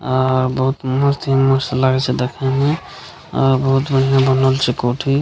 अ बहुत मस्त ही मस्त लागे छै देखे मे बहुत बढ़िया बनल छै कोठी --